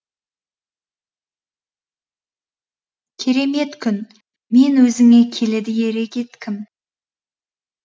керемет күн мен өзіңе келеді ере кеткім